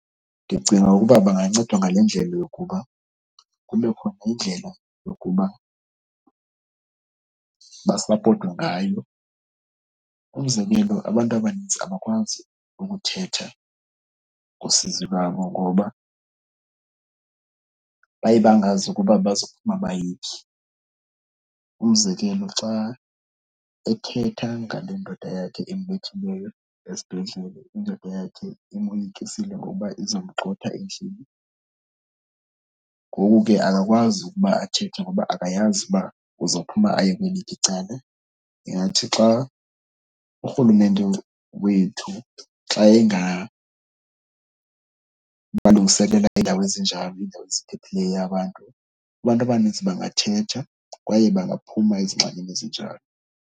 Ndicinga ukuba bangancedwa ngale ndlela yokuba kubekho indlela basapotwe ngayo. Umzekelo abantu abaninzi abakwazi ukuthetha usizi lwabo ngoba baye bangazi ukuba bazokuphuma bayephi. Umzekelo xa ethetha ngale ndoda yakhe embethileyo esibhedlele, indoda yakhe imoyikisile ngokuba izomgxotha endlini. Ngoku ke akakwazi ukuba athethe ngoba akayazi uba uzophuma aye kweliphi icala. Ingathi xa urhulumente wethu xa engabalungiselela iindawo ezinjalo, iindawo eziphephileyo abantu, abantu abanintsi bangathetha kwaye bangaphuma ezingxakini ezinjalo.